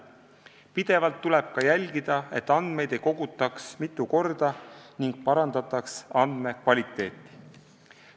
Pidevalt tuleb ka jälgida, et andmeid ei kogutaks mitu korda ning parandataks andmekvaliteeti.